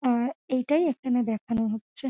আর এটাই এখানে দেখানো হচ্ছে ।